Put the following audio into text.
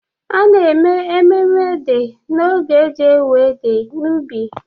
A na-eme mmemme Ede n'oge eji ewe Ede n'ubi.